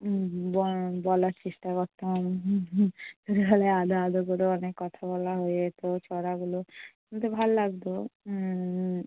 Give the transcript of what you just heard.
ব~ বলার চেষ্টা করতাম। আদো আদো করে অনেক কথা বলা হয়ে যেত। ছড়াগুলো বলতে ভাল লাগতো। উম